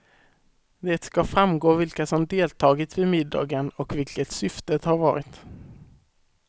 Det ska framgå vilka som deltagit vid middagen och vilket syftet har varit.